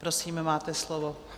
Prosím, máte slovo.